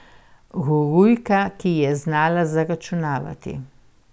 Gurujka, ki je znala zaračunati.